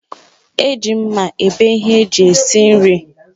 Eji mma ebe ihe eji esi nri